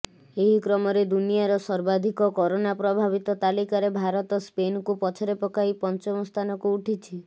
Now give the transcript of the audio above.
ଏହି କ୍ରମରେ ଦୁନିଆର ସର୍ବାଧିକ କରୋନା ପ୍ରଭାବିତ ତାଲିକାରେ ଭାରତ ସ୍ପେନକୁ ପଛରେ ପକାଇ ପଞ୍ଚମ ସ୍ଥାନକୁ ଉଠିଛି